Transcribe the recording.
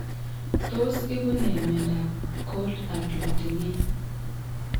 Tos ibu ne myondab Cold agglutinin?